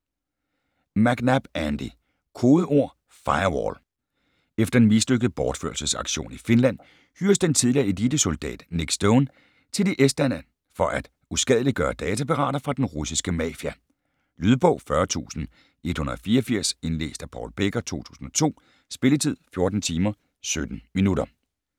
McNab, Andy: Kodeord Firewall Efter en mislykket bortførelsesaktion i Finland hyres den tidligere elitesoldat Nick Stone til i Estland for at uskadeliggøre datapirater fra den russiske mafia. Lydbog 40184 Indlæst af Paul Becker, 2002. Spilletid: 14 timer, 17 minutter.